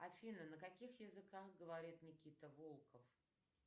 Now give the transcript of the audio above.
афина на каких языках говорит никита волков